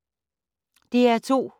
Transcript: DR2